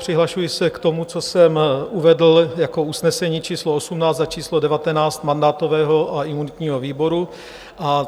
Přihlašuji se k tomu, co jsem uvedl jako usnesení číslo 18 a číslo 19 mandátového a imunitního výboru.